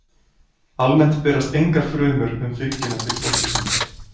Almennt berast engar frumur um fylgjuna til fóstursins.